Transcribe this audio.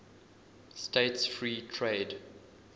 states free trade